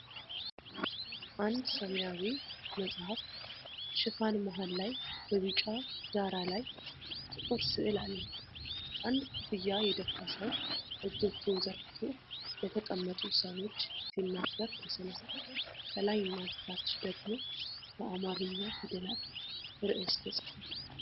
አንድ ሰማያዊ መጽሐፍ ሽፋን መሃል ላይ በቢጫ ዳራ ላይ ጥቁር ስዕል አለው:: አንድ ኮፍያ የደፋ ሰው እጆቹን ዘርግቶ ለተቀመጡ ሰዎች ሲናገር ተሥሏል:: ከላይና ከታች ደግሞ በአማርኛ ፊደላት ርዕስ ተጽፏል::